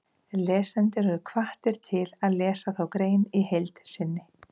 Lesendur eru hvattir til að lesa þá grein í heild sinni.